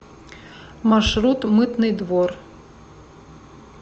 маршрут мытный двор